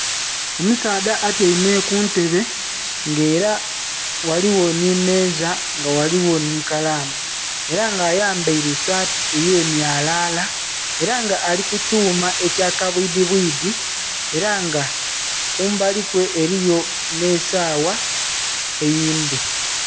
Omusaadha atyaime kuntebe nga era ghaligho nhi meeza nga era ghaligho nhi kalamu era nga ayambaire saati eye myalala era nga ali ku kyuma ekya kabwidhi bwidhi era nga kumbali kwe eriyo nhe esawa eyindhi.